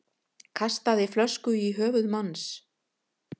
Kastaði flösku í höfuð manns